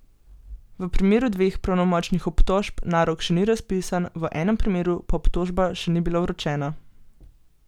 V primeru dveh pravnomočnih obtožb narok še ni razpisan, v enem primeru pa obtožba še ni bila vročena.